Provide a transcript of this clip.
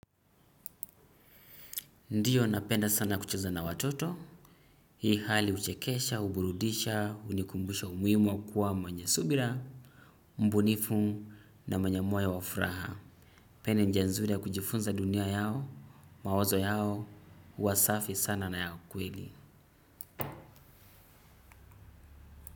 Ndiyo napenda sana kucheza na watoto. Hii hali uchekesha, uburudisha, unikumbusha umuwimu kuwa mwenye subira, mbunifu na mwenye moyo wafraha. Pia ni njianzuri ya kujifunza dunia yao, mawazo yao, uwasafi sana naya kweli.